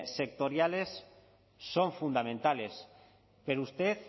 sectoriales son fundamentales pero usted